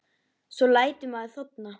Svo lætur maður þorna.